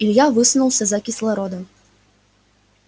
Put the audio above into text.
илья высунулся за кислородом